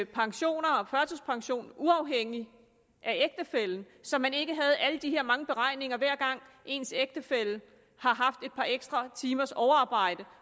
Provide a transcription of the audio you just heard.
pension og førtidspension uafhængig af ægtefællen så man ikke har alle de her mange beregninger hver gang ens ægtefælle har haft et par ekstra timers overarbejde